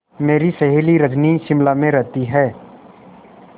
मेरी सहेली रजनी शिमला में रहती है